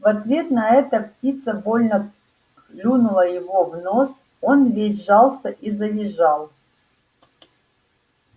в ответ на это птица больно клюнула его в нос он весь сжался и завизжал